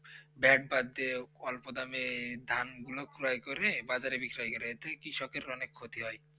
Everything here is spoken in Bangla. দেখ বাক দিয়ে অল্প দামে ধানগুলো ক্রয় করে বাজারে বিক্রি করে তবে কৃষকের অনেক ক্ষতি হয়